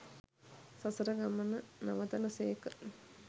සසර ගමන නවතන සේක.